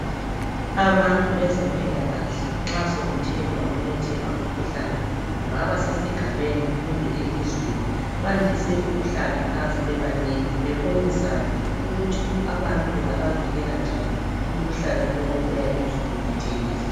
Abantu bezempilakahle nxa sokuthe kwamemetheka umikhuhlane kungaba sesigabeni kumbe elizweni bandise ukuhlala phansi bebanengi bebonisane ukuthi abantu bengabavikela njani kumkhuhlane lowu oyabe usumemethekile.